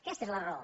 aquesta és la raó